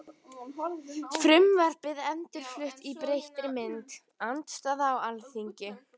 Frumvarpið endurflutt í breyttri mynd- Andstaða á Alþingi